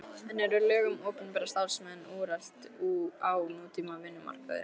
En eru lög um opinbera starfsmenn úrelt á nútíma vinnumarkaði?